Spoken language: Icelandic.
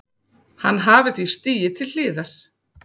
Hann hafi því stigið til hliðar